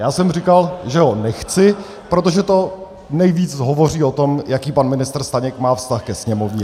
Já jsem říkal, že ho nechci, protože to nejvíc hovoří o tom, jaký pan ministr Staněk má vztah ke Sněmovně.